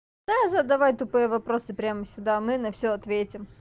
а задавай тупые вопросы прямо сюда мы на все ответим